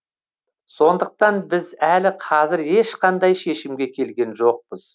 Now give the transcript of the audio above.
сондықтан біз әлі қазір ешқандай шешімге келген жоқпыз